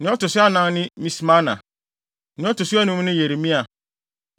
Nea ɔto so anan ne Mismana. Nea ɔto so anum ne Yeremia.